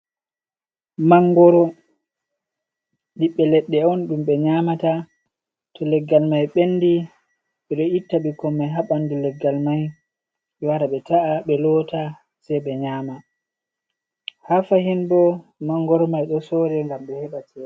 Mangoro ɓiɓbe leɗɗe on ɗum ɓe nyamata, to leggal mai ɓendi ɓe ɗo itta bikkoi mai ha ɓanɗu leggal mai ɓe wara ɓe ta’a, ɓe lota sei ɓe nyama, ha fahin bo mangoro mai ɗo sore ngam ɓe heɓa chede.